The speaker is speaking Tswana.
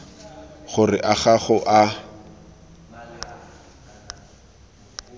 gore a ga go a